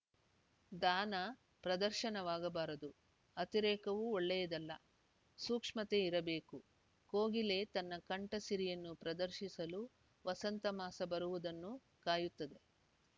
ದಾನ ಪ್ರದರ್ಶನವಾಗಬಾರದು ಅತಿರೇಕವೂ ಒಳ್ಳೆಯದಲ್ಲ ಸೂಕ್ಷ್ಮತೆ ಇರಬೇಕು ಕೋಗಿಲೆ ತನ್ನ ಕಂಠಸಿರಿಯನ್ನು ಪ್ರದರ್ಶಿಸಲು ವಸಂತ ಮಾಸ ಬರುವುದನ್ನು ಕಾಯುತ್ತದೆ